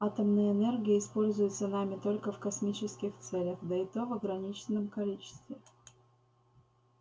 атомная энергия используется нами только в космических целях да и то в ограниченном количестве